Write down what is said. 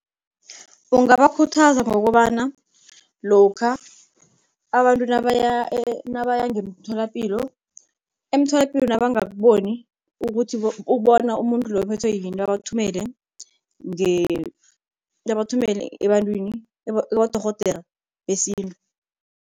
Ungabakhuthaza ngokobana lokha abantu nabaya ngemtholapilo, emtholapilo nabangakuboni ukuthi bona umuntu loyo uphethwe yini babathumele babathumele ebantwini kibodorhodera besintu.